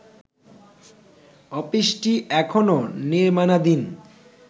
অফিসটি এখনও নির্মাণাধীন